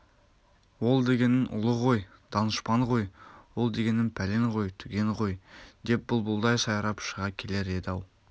ол дегенің ұлы ғой данышпан ғой ол дегенің пәлен ғой түген ғой деп бұлбұлдай сайрап шыға келер еді-ау